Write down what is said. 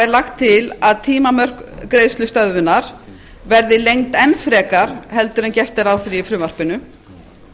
er lagt til að tímamörk greiðslustöðvunar verði lengd enn frekar heldur en gert er ráð fyrir í frumvarpinu